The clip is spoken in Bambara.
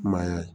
Maaya ye